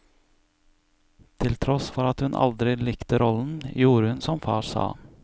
Til tross for at hun aldri likte rollen, gjorde hun som far sa.